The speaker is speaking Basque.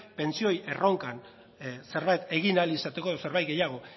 pentsioen erronkan zerbait egin ahal izateko edo zerbait gehiago